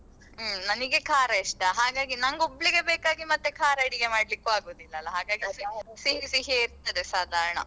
ಹ್ಮ್ ನನಿಗೆ ಖಾರ ಇಷ್ಟ ಹಾಗಾಗಿ ನಂಗೊಬ್ಳಿಗೆ ಬೇಕಾಗಿ ಮತ್ತೇ ಖಾರ ಅಡುಗೆ ಮಾಡ್ಲಿಕ್ಕೂ ಆಗೂದಿಲ್ಲಲ್ಲಾ ಹಾಗಾಗಿ ಸಿಹಿ ಸಿಹಿಯೇ ಇರ್ತದೆ ಸಾಧಾರಣ.